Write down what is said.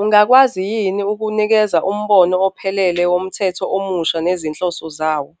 Ungakwazi yini ukunikeza umbono ophelele womthetho omusha nezinhloso zawo?